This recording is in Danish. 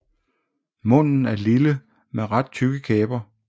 Munden er lille med ret tykke læber